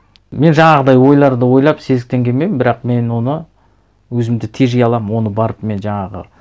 мен жаңағыдай ойларды ойлап сезіктенгенмен бірақ мен оны өзімді тежей аламын оны барып мен жаңағы